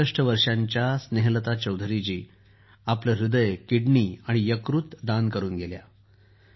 ६३ वर्षांच्या स्नेहलता चौधरीजी आपलं ह्दय किडनी आणि यकृत दान करून गेल्या